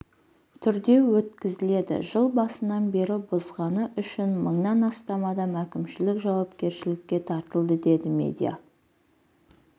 түрде өткізіледі жыл басынан бері бұзғаны үшін мыңнан астам адам әкімшілік жауапкершілікке тартылды деді медиа